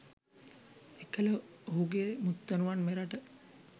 එකල ඔහුගේ මුත්තණුවන් මෙරට